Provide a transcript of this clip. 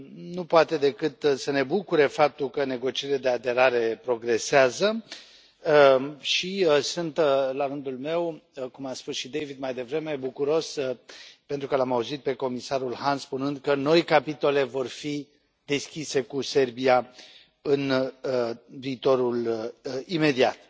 Nu poate decât să ne bucure faptul că negocierile de aderare progresează și sunt, la rândul meu, cum a spus și David mai devreme, bucuros, pentru că l am auzit pe comisarul Hahn spunând că noi capitole vor fi deschise cu Serbia în viitorul imediat.